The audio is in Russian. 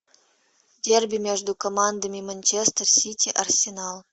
дерби между командами манчестер сити арсенал